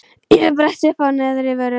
Ég bretti uppá neðri vörina.